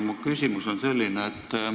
Mu küsimus on selline.